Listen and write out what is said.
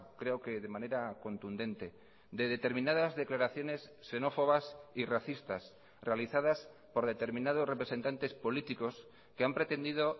creo que de manera contundente de determinadas declaraciones xenófobas y racistas realizadas por determinados representantes políticos que han pretendido